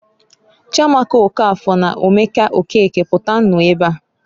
"Chiamaka Okafor na Omeke Okeke, pụtanụ ebeaǃ"